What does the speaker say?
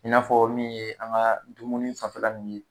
I n'a fɔ min ye an ga dumuni fanfɛla nunnu ye